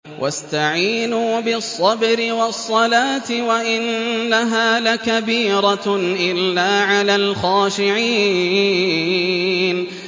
وَاسْتَعِينُوا بِالصَّبْرِ وَالصَّلَاةِ ۚ وَإِنَّهَا لَكَبِيرَةٌ إِلَّا عَلَى الْخَاشِعِينَ